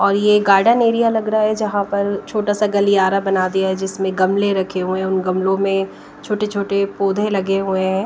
और ये garden area लग रहा है जहां पर छोटा सा गलियारा बना दिया है जिसमें गमले रखे हुए उन गमलों में छोटे छोटे पौधे लगे हुए--